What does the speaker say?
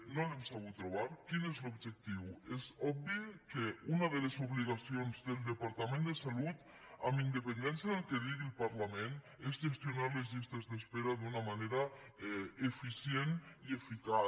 no l’hem sabut trobar quin és l’objectiu és obvi que una de les obligacions del departament de salut amb independència del que digui el parlament és gestionar les llistes d’espera d’una manera eficient i eficaç